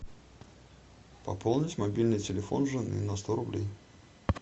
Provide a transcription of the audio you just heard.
пополнить мобильный телефон жены на сто рублей